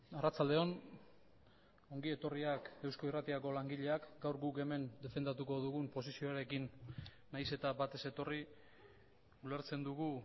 arratsaldeon ongi etorriak eusko irratiako langileak gaur guk hemen defendatuko dugun posizioarekin nahiz eta bat ez etorri ulertzen dugu